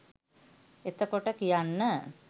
එතකොට කියන්න